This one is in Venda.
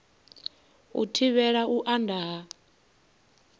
u thivhela u anda ha